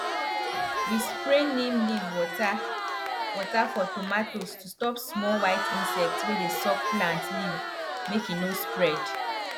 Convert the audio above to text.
we spray neem leaf water water for tomatoes to stop small white insect wey dey suck plant leaf make e no spread